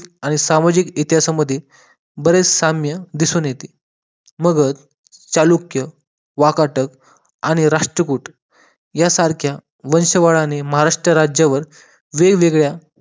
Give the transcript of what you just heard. आणि सामाजिक इतिहासामध्ये बरेच साम्य दिसून येते मगर चालुक्य वाकाटक आणि राष्ट्रकूट या सारख्या वंशवालाने महाराष्ट्र राज्यावर वेगवेगळ्या